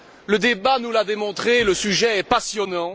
Le débat nous l'a démontré, le sujet est passionnant.